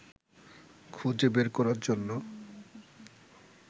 খুঁজে বের করার জন্য